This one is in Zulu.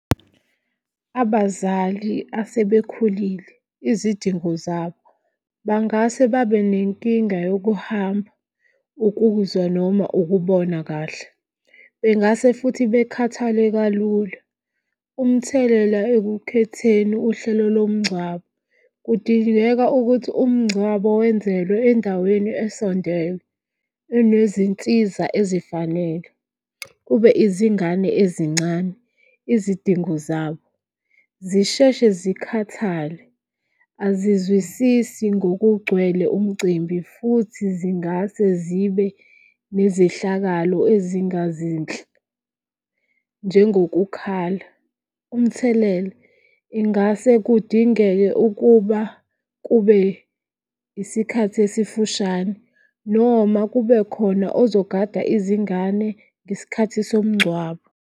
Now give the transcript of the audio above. Abazali asebekhulile izidingo zabo bangase babe nenkinga yokuhamba ukuzwa noma ukubona kahle. Bengase futhi bekhathale kalula. Umthelela ekukhetheni uhlelo lomngcwabo kudingeka ukuthi umngcwabo wenzelwe endaweni esondele enezinsiza ezifanele. Kube izingane ezincane, izidingo zabo zisheshe zikhathale. Azizwisisi ngokugcwele umcimbi futhi zingase zibe nezehlakalo ezingazinhle njengokukhala. Umthelela, ingase kudingeke ukuba kube isikhathi esifushane noma kube khona ozogada izingane ngesikhathi somngcwabo.